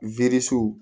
Werisiw